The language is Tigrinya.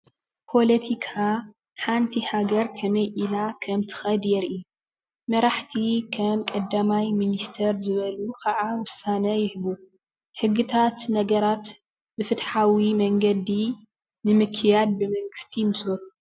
ፖለቲካ ሓንቲ ሃገር ከመይ ኢላ ከምትከድ የርኢ። መራሕቲ ከም ቀዳማይ ሚኒስቴር ዝበሉ ከዓ ውሳነ ይህቡ። ሕጊታት ነገራት ብፍትሓዊ መንገዲ ንምክያድ ብመንግስቲ ይመስሉ።